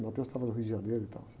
estava no Rio de Janeiro e tal.